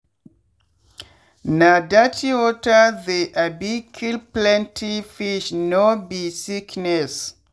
na dirty water they um kill plenty fish no be sickness.